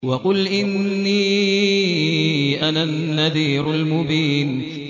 وَقُلْ إِنِّي أَنَا النَّذِيرُ الْمُبِينُ